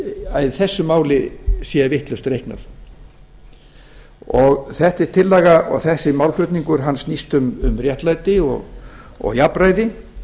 að í þessu máli sé vitlaust reiknað þessi félaga og þessi málflutningur snýst um réttlæti og jafnræði